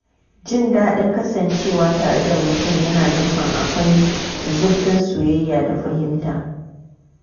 Jin daɗin kasancewa tare da mutum yana nufin akwai zurfin soyayya da fahimta.